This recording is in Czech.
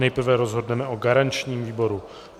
Nejprve rozhodneme o garančním výboru.